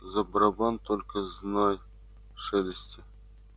за барабан только знай шелести